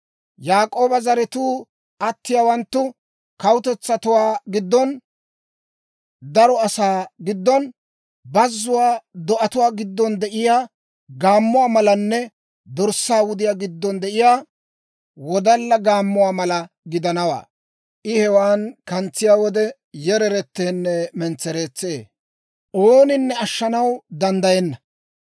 Yaak'ooba zaratuu atiyaawanttu kawutetsatuwaa giddon, daro asaa giddon, bazzuwaa do'atuwaa giddon de'iyaa gaammuwaa malanne dorssaa wudiyaa giddon de'iyaa wodalla gaammuwaa mala gidanawaa. I hewaana kantsiyaa wode yereretteenne mentsereetsee; ooninne ashshanaw danddayenna.